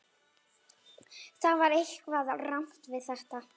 Það var eitthvað rangt við þetta.